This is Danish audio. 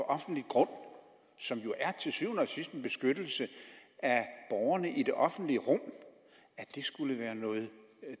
offentlig grund som jo til syvende og sidst er en beskyttelse af borgerne i det offentlige rum skulle være noget